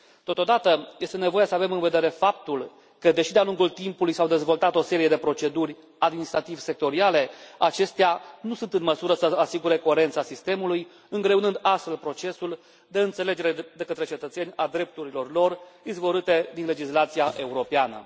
Totodată, este nevoie să avem în vedere faptul că, deși de a lungul timpului s au dezvoltat o serie de proceduri administrativ sectoriale, acestea nu sunt în măsură să asigure coerența sistemului, îngreunând astfel procesul de înțelegere de către cetățeni a drepturilor lor izvorâte din legislația europeană.